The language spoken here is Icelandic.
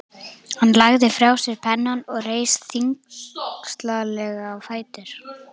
Hann lagði frá sér pennann og reis þyngslalega á fætur.